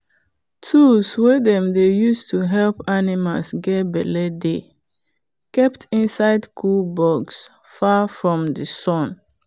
tools wey dem dey use to help animals get belle dey kept inside cool box far from sun.